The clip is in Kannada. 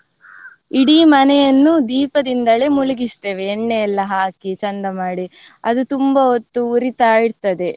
ಇಡೀ ಮನೆಯನ್ನು ದೀಪದಿಂದಲೇ ಮುಳಿಗಿಸ್ತೇವೆ ಎಣ್ಣೆ ಎಲ್ಲಾ ಹಾಕಿ ಚೆಂದ ಮಾಡಿ ಅದು ತುಂಬಾ ಹೊತ್ತು ಉರಿತಾ ಇರ್ತದೆ.